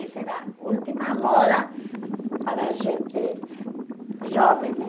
Essa era a última moda para gente jovem, né?